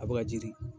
A bɛ ka jiri